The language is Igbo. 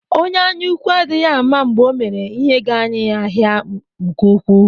Onye anyaúkwú adịghị ama mgbe Ọ mèrè ihe ga-anyi ya ahịa nke ukwuu.